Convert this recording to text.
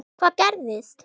Hvað gerðist?